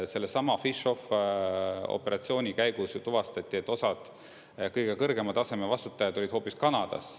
Sellesama PhishOFF-operatsiooni käigus ju tuvastati, et osad kõige kõrgema taseme vastutajad olid hoopis Kanadas.